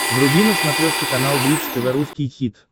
вруби на смотрешке канал бридж тв русский хит